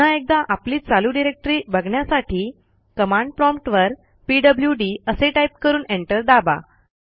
पुन्हा एकदा आपली चालू डिरेक्टरी बघण्यासाठी कमांड प्रॉम्प्ट वर पीडब्ल्यूडी असे टाईप करून एंटर दाबा